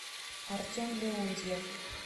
артем леонтьев